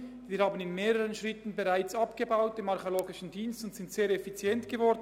Wir haben den Archäologischen Dienst bereits in mehreren Schritten reduziert und sind sehr effizient geworden.